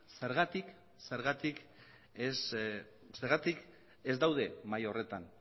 zergatik ez dauden mahai horretan